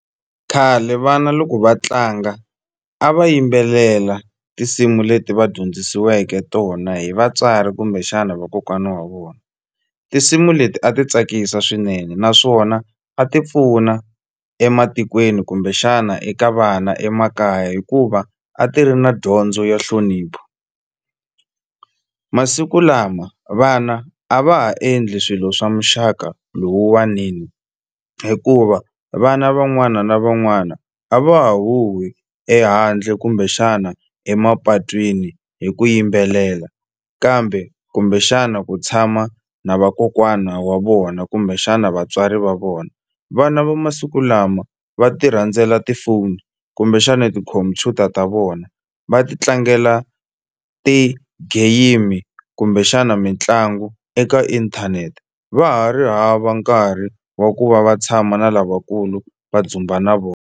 Khale vana loko va tlanga a va yimbelela tinsimu leti va dyondzisiweke tona hi vatswari kumbexana vakokwana wa vona tinsimu leti a ti tsakisa swinene naswona a ti pfuna ematikweni kumbexana eka vana emakaya hikuva a ti ri na dyondzo ya nhlonipho masiku lama vana a va ha endli swilo swa muxaka lowuwanini hikuva vana van'wana na van'wana a va huwhi ehandle kumbexana emapatwini hi ku yimbelela kambe kumbexana ku tshama na vakokwana wa vona kumbexana vatswari va vona vana va masiku lama va ti rhandzela tifoni kumbexana tikhompyuta ta vona va ti tlangela ti-game kumbexana mitlangu eka inthanete va ha ri hava nkarhi wa ku va va tshama na lavakulu va dzumba na .